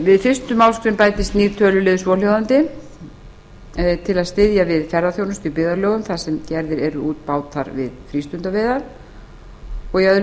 við fyrstu málsgrein bætist nýr töluliður svohljóðandi til að styðja við ferðaþjónustu í byggðarlögum þar sem gerðir eru út bátar til frístundaveiða og í öðru